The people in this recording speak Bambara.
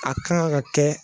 A kan ga kɛ